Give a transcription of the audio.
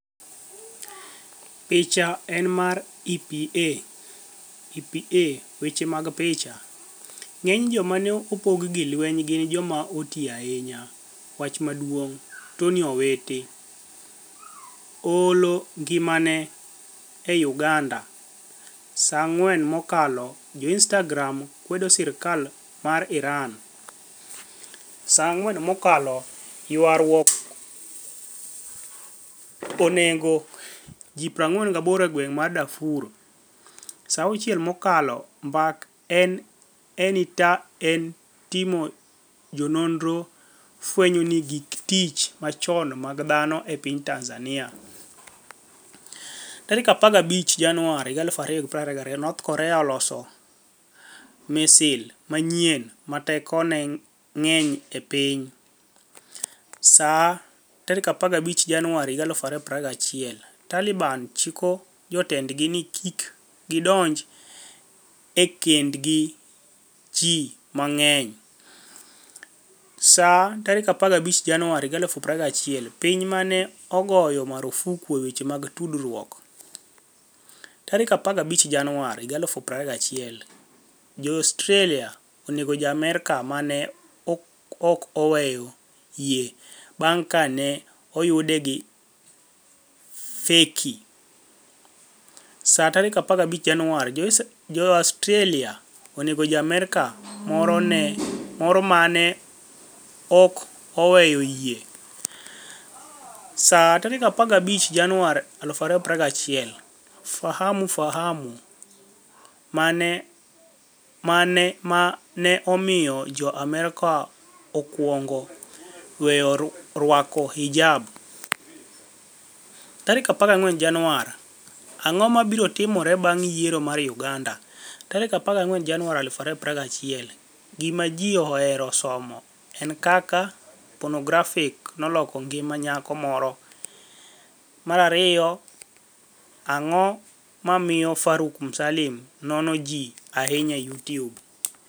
Picha eni mar EPA (EPA) Weche mag picha, nig'eniy joma ni e opog gi lweniy gini joma oti ahiniya Wach maduonig' Toniy Owiti 'oHolo nigimani e' UganidaSa 4 mokalo Jo-Inistagram kwedo sirkal mar IraniSa 4 mokalo Ywaruok oni ego ji 48 e gwenig' mar DarfurSa 6 mokalo Mbaka e Initani etJotim noniro fweniyo gik tich machoni mag dhano e piniy TanizaniiaSa 15 Janiuar 2021 north Korea oloso misil maniyieni 'ma tekoni e nig'eniy e piniy'Sa 15 Janiuar 2021 Talibani chiko jotenidgi nii kik gidonij e kenid gi ji manig'eniySa 15 Janiuar 2021 Piniy ma ni e ogoyo marfuk e weche tudruokSa 15 Janiuar 2021 Ja - Australia oni ego Ja - Amerka ma ni e 'ok oweyo yie' banig ' ka ni e oyude gi fekiSa 15 Janiuar 2021 Jo - Australia ni ego Ja - Amerka moro ma ni e 'ok oweyo yie'Sa 15 Janiuar 2021 Fahamu Fahamu mani e ma ni e omiyo Ja - Amerka okwonigo weyo rwako hijab? 14 Janiuar 2021 Anig'o mabiro timore banig' yiero mar Uganida? 14 Janiuar 2021 Gima Ji Ohero Somo 1 Kaka Ponografi noloko nigima niyako Moro 2 Anig'o MomiyoFaruk Msanii nono Ji Ahiniya e Youtube?